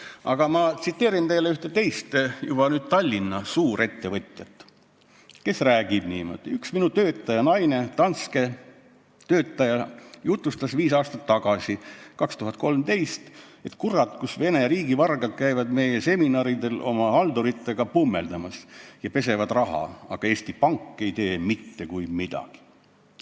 Aga üks teine ettevõtja, seekord juba Tallinna suurettevõtja, on rääkinud niimoodi, et ühe tema töötaja naine, Danske töötaja, jutustas viis aastat tagasi, 2013, et kurat, kus Vene riigivargad käivad nende seminaridel oma halduritega pummeldamas ja pesevad raha, aga Eesti Pank ei tee mitte kui midagi.